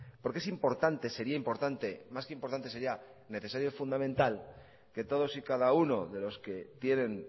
porque es importante sería importante más que importante sería necesario fundamental que todos y cada uno de los que tienen